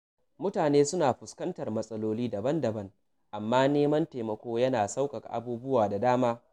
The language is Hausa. Mutane suna fuskantar matsaloli daban-daban, amma neman taimako yana sauƙaƙa abubuwa da dama.